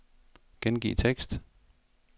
Gengiv tekst.